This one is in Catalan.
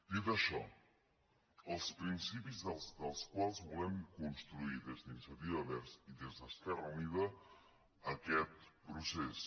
dit això els principis a partir dels quals volem construir des d’iniciativa verds i des d’esquerra unida aquest procés